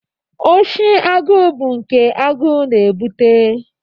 Oshi agụụ bụ nke agụụ na-ebute.